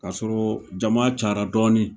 Kasɔrɔɔ jama cara dɔɔnin